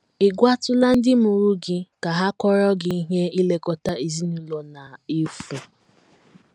Ị̀ gwatụla ndị mụrụ gị ka ha kọọrọ gị ihe ilekọta ezinụlọ na -- efu?